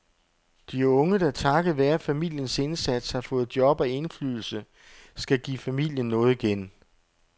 De unge, der takket være familiens indsats har fået job og indflydelse, skal give familien noget igen.